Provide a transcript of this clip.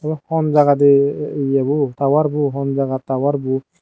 ebe honjagade ye bo tower bo honjagat tower bo.